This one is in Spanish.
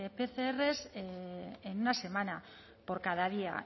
pcr en una semana por cada día